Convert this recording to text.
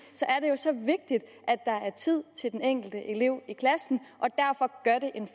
er er tid til den enkelte elev i klassen